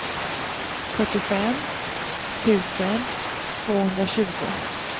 fyrtiofem tusen tvåhundratjugo